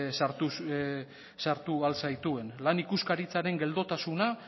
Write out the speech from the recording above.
sartu ahal zaituen lan ikuskaritzaren geldotasuna